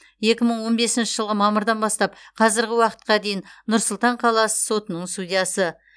екі мың он бесінші жылғы мамырдан бастап қазіргі уақытқа дейін нұр сұлтан қаласы сотының судьясы